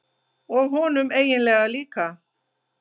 Og honum eiginlega líka.